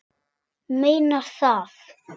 Hún meinar það.